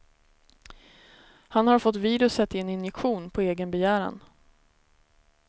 Han har fått viruset i en injektion, på egen begäran.